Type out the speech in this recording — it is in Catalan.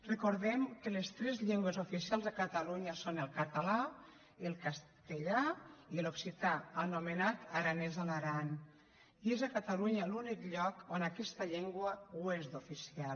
recordem que les tres llengües oficials a catalunya són el català el castellà i l’occità anomenat aranès a l’aran i és a catalunya l’únic lloc on aquesta llengua és oficial